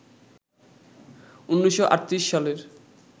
১৯৩৮ সালের